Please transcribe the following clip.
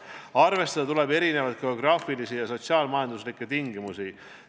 Arvestada tuleb erinevaid geograafilisi ja sotsiaal-majanduslikke tingimusi.